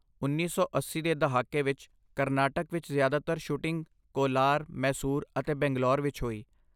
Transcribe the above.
ਉੱਨੀ ਸੌ ਅੱਸੀ ਦੇ ਦਹਾਕੇ ਵਿੱਚ ਕਰਨਾਟਕ ਵਿੱਚ ਜ਼ਿਆਦਾਤਰ ਸ਼ੂਟਿੰਗ ਕੋਲਾਰ, ਮੈਸੂਰ ਅਤੇ ਬੰਗਲੌਰ ਵਿੱਚ ਹੋਈ